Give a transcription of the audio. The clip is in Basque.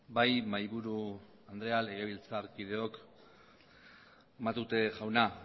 bai mahaiburu andrea legebiltzarkideok matute jauna